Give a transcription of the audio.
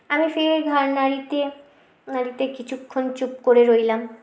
আমি ফের ঘাড় নাড়িতে নাড়িতে কিছুক্ষণ চুপ করে রইলাম